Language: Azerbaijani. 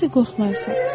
“Necə də qorxmayasan?”